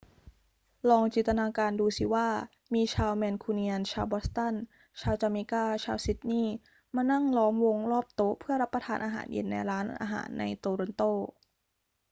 ลองจินตนาการดูสิว่ามีชาวแมนคูเนียน ชาวบอสตัน ชาวจาเมกา ชาวซิดนีย์ มานั่งล้อมวงรอบโต๊ะเพื่อรับประทานอาหารเย็นในร้านอาหารในโตรอนโต